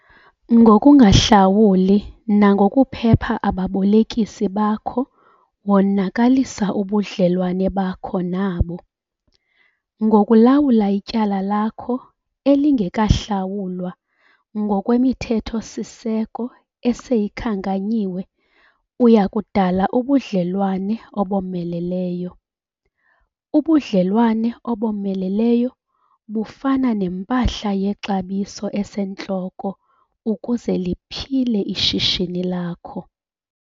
Ngokungahlawuli nangokuphepha ababolekisi bakho wonakalisa ubudlelwane bakho nabo. Ngokulawula ityala lakho elingekahlawulwa ngokwemithetho-siseko eseyikhankanyiwe uya kudala ubudlelwane obomeleleyo. Ubudlelwane obomeleleyo bufana nempahla yexabiso esentloko ukuze liphile ishishini lakho.